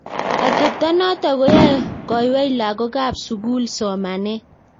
atepto noto koyae koywei lagookab sugul somanet